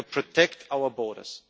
We have to protect our borders.